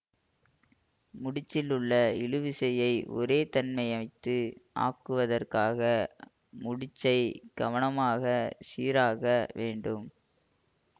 முடிச்சில் உள்ள இழுவிசையைச் ஒரேதன்மைத்து ஆக்குவதற்காக முடிச்சைக் கவனமாகச் சீராக வேண்டும்